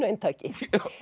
eintaki